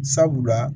Sabula